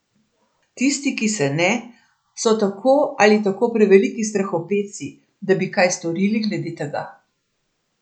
Tisti, ki se ne, so tako ali tako preveliki strahopetci, da bi kaj storili glede tega.